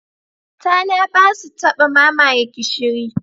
Tana ba su taba mamaye gishiri.